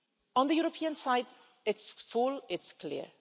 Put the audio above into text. On the European side, it's full and it's clear.